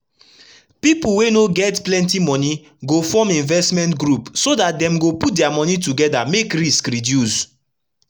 pipu wey no get plenti moni go form investment group so dat dem go put dia moni togeda make risk reduce